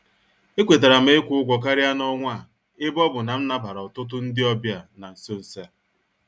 E kwetaram ikwu ụgwọ karịa n' ọnwa a ebe ọbụ nam nabara ọtụtụ ndị ọbịa n' nsọ nsọ a.